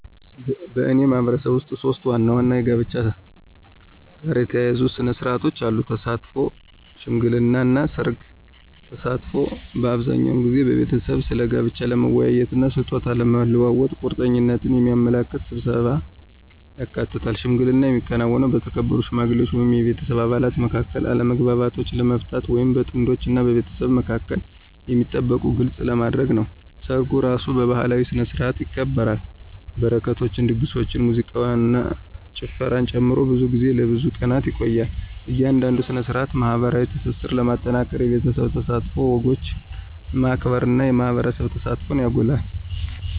በእኔ ማህበረሰብ ውስጥ ሶስት ዋና ዋና ከጋብቻ ጋር የተያያዙ ሥነ ሥርዓቶች አሉ - ተሳትፎ፣ ሽምግልና እና ሠርግ። ተሳትፎ አብዛኛውን ጊዜ ቤተሰቦች ስለ ጋብቻ ለመወያየት እና ስጦታ ለመለዋወጥ ቁርጠኝነትን የሚያመለክት ስብሰባን ያካትታል። ሽምግልና የሚከናወነው በተከበሩ ሽማግሌዎች ወይም የቤተሰብ አባላት መካከል አለመግባባቶችን ለመፍታት ወይም በጥንዶች እና በቤተሰቦቻቸው መካከል የሚጠበቁትን ግልጽ ለማድረግ ነው። ሰርጉ እራሱ በባህላዊ ስነ-ስርዓቶች ይከበራል, በረከቶችን, ድግሶችን, ሙዚቃን እና ጭፈራን ጨምሮ, ብዙ ጊዜ ለብዙ ቀናት ይቆያል. እያንዳንዱ ሥነ ሥርዓት ማኅበራዊ ትስስርን ለማጠናከር የቤተሰብ ተሳትፎን፣ ወጎችን ማክበር እና የማህበረሰብ ተሳትፎን ያጎላል።